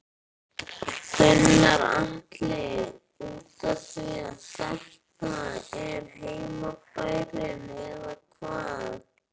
Gunnar Atli: Útaf því að þetta er heimabærinn eða hvað?